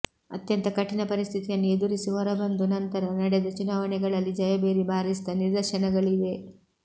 ಅತ್ಯಂತ ಕಠಿಣ ಪರಿಸ್ಥಿತಿಯನ್ನು ಎದುರಿಸಿ ಹೊರಬಂದು ನಂತರ ನಡೆದ ಚುನಾವಣೆಗಳಲ್ಲಿ ಜಯಭೇರಿ ಬಾರಿಸಿದ ನಿದರ್ಶನಗಳಿವೆ